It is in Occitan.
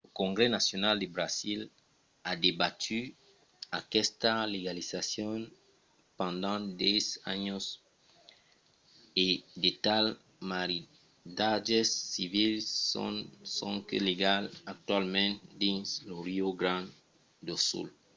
lo congrès nacional de brasil a debatut aquesta legalizacion pendent 10 ans e de tals maridatges civils son sonque legals actualament dins lo rio grande do sul